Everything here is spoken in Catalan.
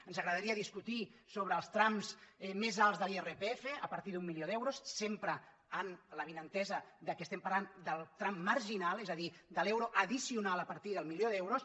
ens agradaria discutir sobre els trams més alts de l’irpf a partir d’un milió d’euros sempre amb l’avinentesa que parlem del tram marginal és a dir de l’euro addicional a partir del milió d’euros